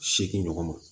Seegin ɲɔgɔn ma